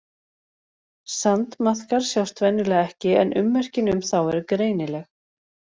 Sandmaðkar sjást venjulega ekki en ummerkin um þá eru greinileg.